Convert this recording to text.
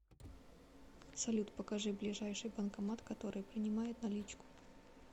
салют покажи ближайший банкомат который принимает наличку